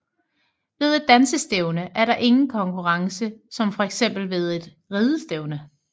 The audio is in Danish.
Ved et dansestævne er der ingen konkurrence som fx ved et ridestævne